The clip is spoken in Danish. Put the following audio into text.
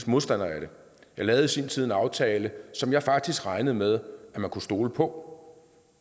modstander af det jeg lavede i sin tid en aftale som jeg faktisk regnede med man kunne stole på